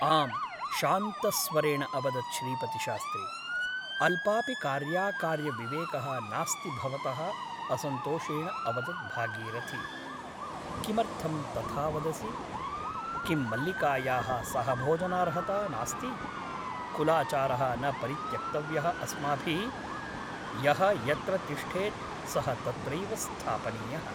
आम् शान्तस्वरेण अवदत् श्रीपतिशास्त्री । अल्पापि कार्याकार्यविवेकः नास्ति भवतः असन्तोषेण अवदत् भागीरथी । किमर्थं तथा वदसि ? किं मल्लिकायाः सहभोजनार्हता नास्ति ? कुलाचारः न परित्यक्तव्यः अस्माभिः । यः यत्र तिष्ठेत् सः तत्रैव स्थापनीयः ।